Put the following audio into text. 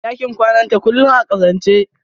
ɗakin kwanata kullum a ƙazance.